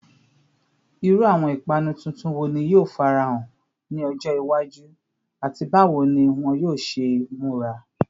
Iru awọn ipanu tuntun wo ni yoo farahan ni ọjọ iwaju, ati bawo ni wọn yoo ṣe mura?